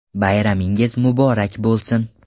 Bayramingiz muborak bo‘lsin!